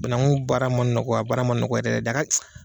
Banaku baara ma nɔgɔ a baara ma nɔgɔ yɛrɛ yɛrɛ de a ka .